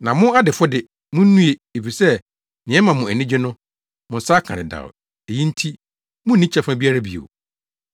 “Na mo adefo de, munnue efisɛ nea ɛma mo ani gye no, mo nsa aka dedaw; eyi nti munni kyɛfa biara bio.